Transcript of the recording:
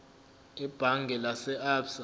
ebhange lase absa